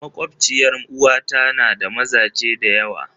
Makwabciyar 'yar uwata na da mazaje da yawa.